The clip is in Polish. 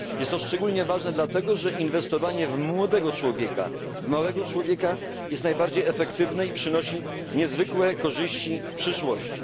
Jest to szczególnie ważne, dlatego że inwestowanie w młodego człowieka, w małego człowieka jest najbardziej efektywne i przynosi niezwykłe korzyści w przyszłości.